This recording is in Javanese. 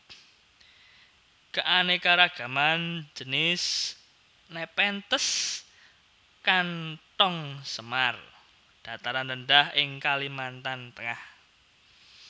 Keanekaragaman jinis Nepenthes kantong semar dataran rendah di Kalimantan Tengah